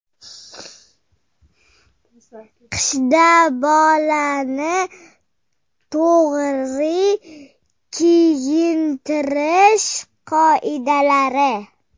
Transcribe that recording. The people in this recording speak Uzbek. Qishda bolani to‘g‘ri kiyintirish qoidalari.